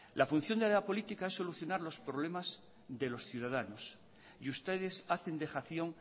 la función de la política es solucionar los problemas de los ciudadanos y ustedes hacen dejación